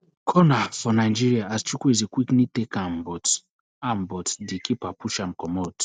corner for nigeria as chukwueze quickly take am but am but di keeper push am comot